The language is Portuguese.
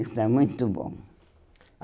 Isso está muito bom.